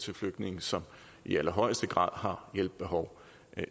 til flygtninge som i allerhøjeste grad har hjælp behov